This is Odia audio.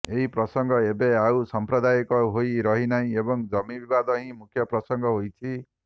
ଏହି ପ୍ରସଙ୍ଗ ଏବେ ଆଉ ସାଂପ୍ରଦାୟିକ ହୋଇ ରହିନାହିଁ ଏବଂ ଜମି ବିବାଦ ହିଁ ମୁଖ୍ୟ ପ୍ରସଙ୍ଗ ହୋଇଛି